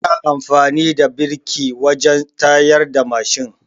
Ana amfani da biriki wajen tsayarda mashin